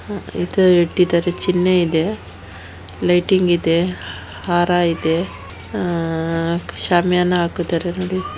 ಇದು ಇಟ್ಟಿದ್ದಾರೆ ಚಿನ್ನ ಇದೆ ಲೈಟಿಂಗ್ ಇದೆ ಹಾರ ಇದೆ ಆ ಶಾಮಿಯಾನ ಹಾಕಿದ್ದಾರೆ ನೋಡಿ.